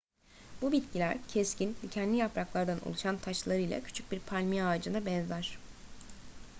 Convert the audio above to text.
bu bitkiler keskin dikenli yapraklardan oluşan taçlarıyla küçük bir palmiye ağacına benzer